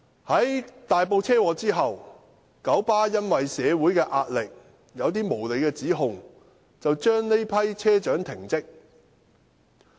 在大埔車禍發生後，九巴基於社會壓力，以一些無理指控把這批車長停職。